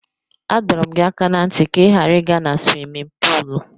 Adọrọ m gị aka ná ntị ka ị ghara ịga na swimin puul.